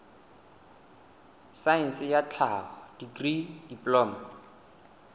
saense ya tlhaho dikri diploma